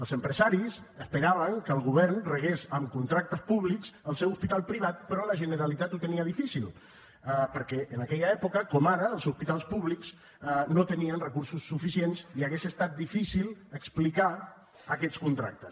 els empresaris esperaven que el govern regués amb contractes públics el seu hospital privat però la generalitat ho tenia difícil perquè en aquella època com ara els hospitals públics no tenien recursos suficients i hauria estat difícil explicar aquests contractes